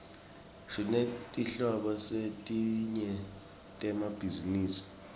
sinetetinhlobo letinyenti temabhizinisi